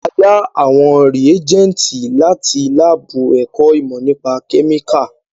A yá àwọn rìégẹ́ntì láti lábù ẹ̀kọ́ ìmọ́ nípa kẹ́míkà